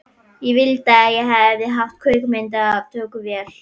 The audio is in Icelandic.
Ég vildi að ég hefði haft kvikmyndatökuvél.